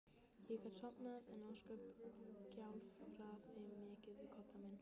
Ég gat sofnað en ósköp gjálfraði mikið við koddann minn.